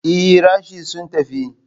Ee, rashes sun tafi.